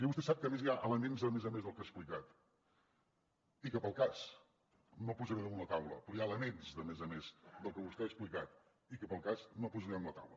i vostè sap que a més hi ha elements a més a més del que ha explicat i que per al cas no posaré damunt la taula però hi ha elements de més a més del que vostè ha explicat i que pel cas no posaré damunt la taula